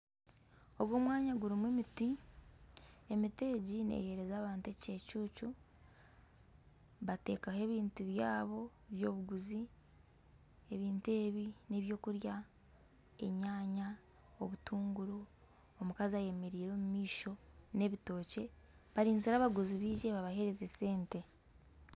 Ogu omwanya gurimu emiti, emiti egi neehereza abantu ekicucu, bateekaho ebintu byabo by'obuguzi, ebintu ebi n'eby'okurya, enyanya obutunguru, omukazi ayemereire omu maisho n'ebitookye barinzire abaguzi baije babahereze sente